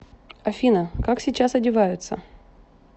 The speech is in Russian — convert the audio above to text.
афина как сейчас одеваются